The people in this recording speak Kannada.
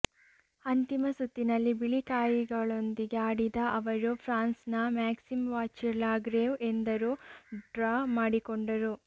ಅಂತಿಮ ಸುತ್ತಿನಲ್ಲಿ ಬಿಳಿ ಕಾಯಿಗಳೊಂದಿಗೆ ಆಡಿದ ಅವರು ಫ್ರಾನ್ಸ್ನ ಮ್ಯಾಕ್ಸಿಮ್ ವಾಚಿರ್ ಲಾಗ್ರೇವ್ ಎದುರು ಡ್ರಾ ಮಾಡಿಕೊಂಡರು